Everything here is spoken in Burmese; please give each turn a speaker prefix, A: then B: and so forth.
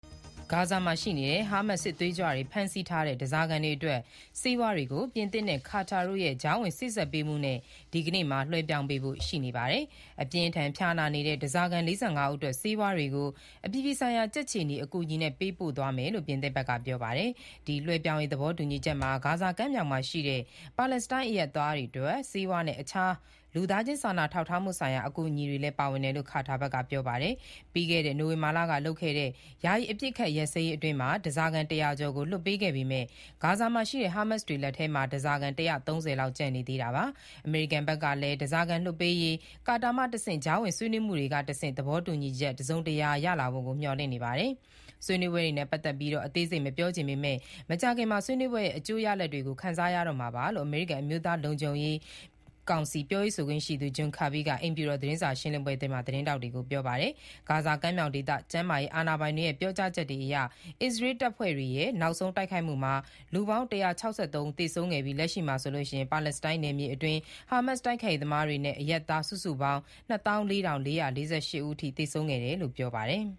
A: ဂါဇာမှာရှိနေတဲ့ ဟားမတ်စ် စစ်သွေးကြွတွေ ဖမ်းဆီးထားတဲ့ ဓားစာခံတွေအတွက် ဆေးဝါးတွေကို ပြင်သစ်နဲ့ ကာတာတို့ရဲ့ ကြားဝင်စေ့စပ်ပေးမှုနဲ့ ဒီနေ့မှာ လွှဲပြောင်းပေးဖို့ရှိနေပါတယ်။ အပြင်းအထန် ဖျားနာနေတဲ့ ဓားစာခံ ၄၅ ဦးအတွက် ဆေးဝါးတွေကို အပြည်ပြည်ဆိုင်ရာ ကြက်ခြေနီအကူအညီနဲ့ ပေးပို့သွားမယ်လို့ ပြင်သစ်ဘက်က ပြောပါတယ်။ ဒီလွှဲပြောင်းရေး သဘောတူညီချက်မှာ ဂါဇာကမ်းမြှောင်ရှိ ပါလက်စတိုင်းအရပ်သားတွေအတွက် ဆေးဝါးနဲ့ အခြားသော လူသားချင်းစာနာထောက်ထားမှုဆိုင်ရာ အကူအညီတွေလည်း ပါဝင်တယ်လို့ ကာတာဘက်က ပြောပါတယ်။ ပြီးခဲ့တဲ့ နိုဝင်ဘာလကလုပ်ခဲ့တဲ့ ယာယီအပစ်အခတ်ရပ်စဲရေးအတွင်း ဓားစာခံ ၁၀၀ ကျော်ကို လွှတ်ပေးခဲ့ပေမဲ့ ဂါဇာရှိ ဟားမတ်စ်တွေလက်ထဲမှာ ဓားစာခံ ၁၃၀ လောက် ကျန်နေသေးတာပါ။ အမေရိကန်ဘက်ကလည်း ဓားစာခံလွှတ်ပေးရေး ကာတာမှတဆင့် ကြားဝင်ဆွေးနွေးမှုတွေကတဆင့် သဘောတူညီချက်အသစ် တစုံတရာ ရလာဖို့ကို မျှော်လင့်နေပါတယ်။ ဆွေးနွေးပွဲနဲ့ပတ်သက်ပြီး အသေးစိတ်မပြောချင်ပေမဲ့ မကြာခင်မှာပဲ ဆွေးနွေးပွဲရဲ့ အကျိုးရလဒ်တွေကို ခံစားရမှာပါလို့ အမေရိကန် အမျိုးသား လုံခြုံရေးကောင်စီ ပြောရေးဆိုခွင့်ရှိသူ John Kirby က အိမ်ဖြူတော် သတင်းစာ ရှင်းလင်းပွဲတွင် သတင်းထောက်တွေကို ပြောပါတယ်။ ဂါဇာကမ်းမြောင်ဒေသ ကျန်းမာရေးအာဏာပိုင်တွေ ပြောကြားချက်အရ အစ္စရေးတပ်ဖွဲ့တွေရဲ့ နောက်ဆုံးတိုက်ခိုက်မှုမှာ လူ ၁၆၃ ဦး သေဆုံးခဲ့ပြီး၊ လက်ရှိမှာဆိုရင် ပါလက်စတိုင်းနယ်မြေအတွင်း ဟာမတ်စ်တိုက်ခိုက်ရေးသမားတွေနဲ့ အရပ်သားစုစုပေါင်း ၂၄,၄၄၈ ဦးအထိ သေဆုံးခဲ့တယ်လို့ ပြောပါတယ်။